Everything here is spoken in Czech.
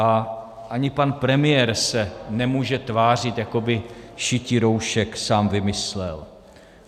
A ani pan premiér se nemůže tvářit, jako by šití roušek sám vymyslel.